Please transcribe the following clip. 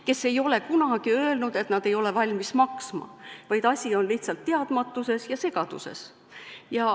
Tootjad ei ole kunagi öelnud, et nad ei ole valmis maksma, vaid asi on lihtsalt teadmatuses ja segaduses.